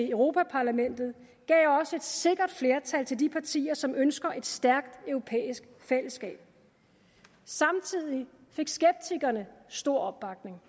europa parlamentet gav også et sikkert flertal til de partier som ønsker et stærkt europæisk fællesskab samtidig fik skeptikerne stor opbakning